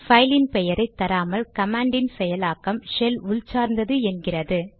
பைலின் பெயரை தராமல் கமாண்ட் யின் செயலாக்கம் ஷெல் உள் சார்ந்தது என்கிறது